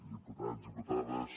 diputats diputades